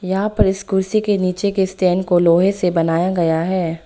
यहां पर इस कुर्सी के नीचे के स्टैंड को लोहे से बनाया गया है।